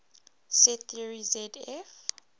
set theory zf